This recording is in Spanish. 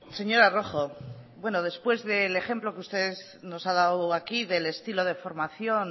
señora rojo bueno después del ejemplo que ustedes nos han dado aquí del estilo de formación